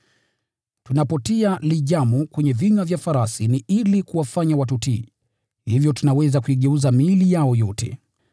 Tunapotia lijamu kwenye vinywa vya farasi ili kuwafanya watutii, tunaweza kuigeuza miili yao yote.